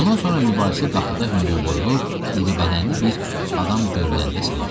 Bundan sonra mübahisə qapıda hündürboylu, iribədənli bir adam görünəndə səngidi.